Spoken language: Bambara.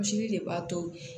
Misiri de b'a to